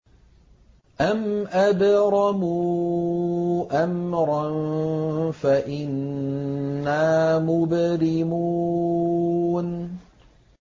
أَمْ أَبْرَمُوا أَمْرًا فَإِنَّا مُبْرِمُونَ